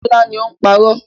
Bọ́lá ni ó ń parọ́.